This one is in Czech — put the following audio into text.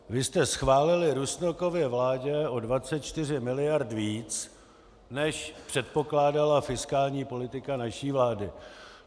Vy jste schválili Rusnokově vládě o 24 mld. víc, než předpokládala fiskální politika naší vlády.